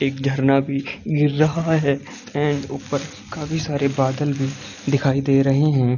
एक झरना भी गिर रहा है एंड उपर काफी सारे बादल भी दिखाई दे रहें हैं ।